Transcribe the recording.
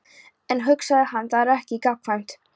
En, hugsaði hann, það er ekki gagnkvæmt.